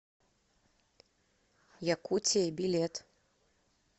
якутия билет